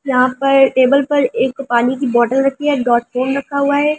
यहां पर टेबल पर एक पानी की बोतल रखी है डॉट फोन रखा हुआ है।